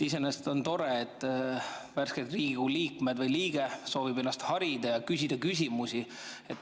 Iseenesest on tore, et värsked Riigikogu liikmed soovivad ennast harida ja küsida küsimusi.